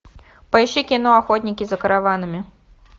поищи кино охотники за караванами